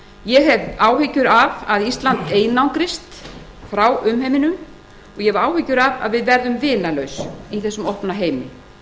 ég hef áhyggjur af að ísland einangrist frá umheiminum og ég hef áhyggjur af að við verðum vinalaus í þessum opna heimi